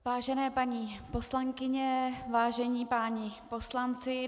Vážené paní poslankyně, vážení páni poslanci.